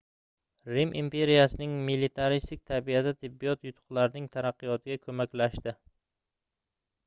rim imperiyasining militaristik tabiati tibbiyot yutuqlarining taraqqiyotiga koʻmaklashdi